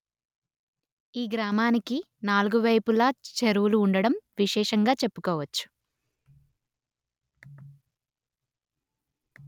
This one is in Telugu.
ఈ గ్రామానికి నాలుగు వైపులా చెరువులు ఉండడం విశేషంగా చెప్పుకోవచ్చు